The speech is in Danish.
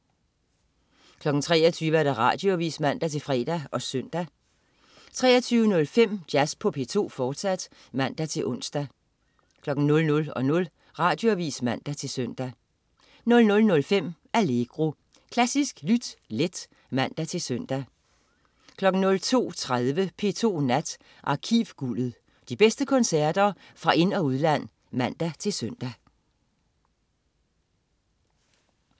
23.00 Radioavis (man-fre og søn) 23.05 Jazz på P2, fortsat (man-ons) 00.00 Radioavis (man-søn) 00.05 Allegro. Klassisk lyt let (man-søn) 02.30 P2 Nat. Arkivguldet. De bedste koncerter fra ind- og udland (man-søn)